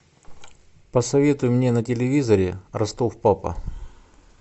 посоветуй мне на телевизоре ростов папа